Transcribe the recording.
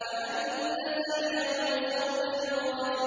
وَأَنَّ سَعْيَهُ سَوْفَ يُرَىٰ